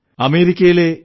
അമേരിക്കയിലെ യു